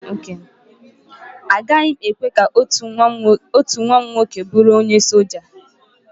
Agaghị m ekwe ka otu nwa m nwoke bụrụ onye soja